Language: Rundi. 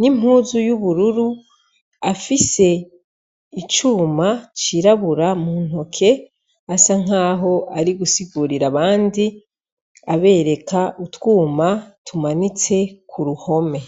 n'impuzu y'ubururu afise icuma cirabura muntoke asa naho Ariko arasigurira abandi utwumba tumanitse kuruhome.